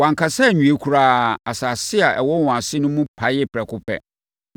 Wankasa anwie koraa, asase a ɛwɔ wɔn ase no mu paee prɛko pɛ,